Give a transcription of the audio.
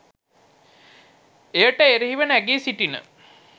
එයට එරෙහිව නැගී සිටින